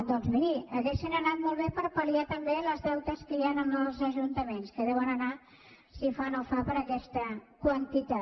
doncs miri haurien anat molt bé per pal·liar també els deutes que hi ha amb els ajuntaments que deuen anar si fa no fa per aquesta quantitat